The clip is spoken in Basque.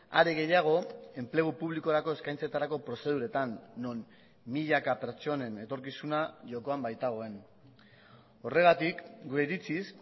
are gehiago enplegu publikorako eskaintzetarako prozeduretan non milaka pertsonen etorkizuna jokoan baitagoen horregatik gure iritziz